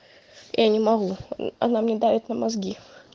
я не могу она мне давит на мозги